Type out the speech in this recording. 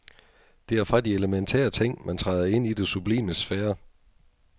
Det er fra de elementære ting, man træder ind i det sublimes sfære.